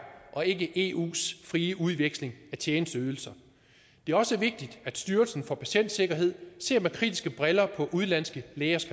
og ikke eus frie udveksling af tjenesteydelser det er også vigtigt at styrelsen for patientsikkerhed ser med kritiske briller på udenlandske lægers